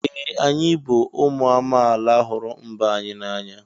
Ee! Anyị bụ ụmụ amaala hụrụ mba anyị n'anya.